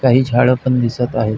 काही झाड पण दिसत आहेत.